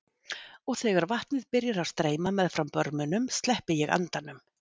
Og þegar vatnið byrjar að streyma meðfram börmunum sleppi ég andanum.